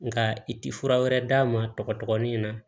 Nka i ti fura wɛrɛ d'a ma tɔgɔin in na